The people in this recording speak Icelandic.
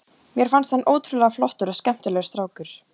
Mér fannst hann ótrúlega flottur og skemmtilegur strákur.